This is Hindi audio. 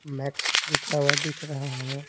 मैक्स लिखा हुआ दिख रहा है।